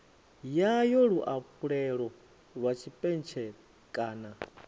yayo luafhulelo lwa tshipentshele kana